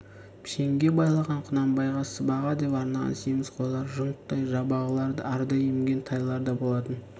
пішенге байлаған құнанбайға сыбаға деп арнаған семіз қойлар жұнттай жабағылар арда емген тайлар да болатын